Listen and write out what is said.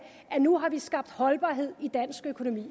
nu har vi skabt holdbarhed i dansk økonomi